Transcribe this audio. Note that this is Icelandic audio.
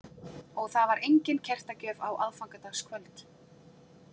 Og þar var engin kertagjöf á aðfangadagskvöld.